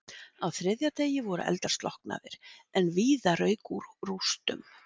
Á þriðja degi voru eldar slokknaðir en víða rauk úr rústum.